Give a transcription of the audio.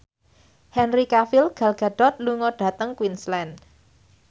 Henry Cavill Gal Gadot lunga dhateng Queensland